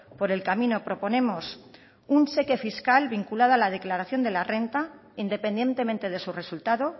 por el camino proponemos un cheque fiscal vinculada a la declaración de la renta independientemente de su resultado